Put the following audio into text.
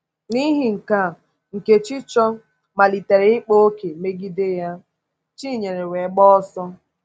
N’ihi nke a, Nkèchíchòr “malitere ịkpa òkè megide ya,” Chinyere wee gbaa ọsọ.